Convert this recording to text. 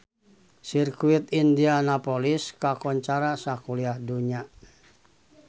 Sirkuit Indianapolis kakoncara sakuliah dunya